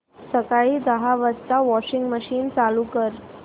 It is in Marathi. सकाळी दहा वाजता वॉशिंग मशीन चालू कर